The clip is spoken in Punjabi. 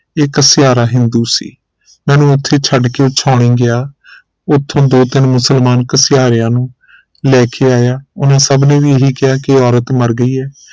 ਇਹ ਘਸਿਆਰਾ ਹਿੰਦੂ ਸੀ ਮੈਨੂੰ ਉਥੇ ਛੱਡ ਕੇ ਉਹ ਛਾਉਣੀ ਗਿਆ ਉਥੋਂ ਦੋ ਤਿਨ ਮੁਸਲਮਾਨ ਘਸਿਆਰੇਆਂ ਨੂੰ ਲੈ ਕੇ ਆਇਆ ਉਹਨੇ ਸਭ ਨੇ ਵੀ ਇਹ ਹੀ ਕਿਹਾ ਕਿ ਇਹ ਔਰਤ ਮਰ ਗਈ ਹੈ